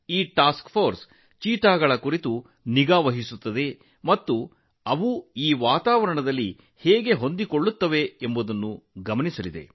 ಈ ಕಾರ್ಯಪಡೆಯು ಚೀತಾಗಳ ಮೇಲೆ ನಿಗಾ ವಹಿಸುತ್ತದೆ ಮತ್ತು ಅವು ಇಲ್ಲಿನ ಪರಿಸರಕ್ಕೆ ಹೊಂದಿಕೊಳ್ಳಲು ಎಷ್ಟು ಸಮರ್ಥವಾಗಿವೆ ಎಂಬುದನ್ನು ನೋಡಿಕೊಳ್ಳುತ್ತದೆ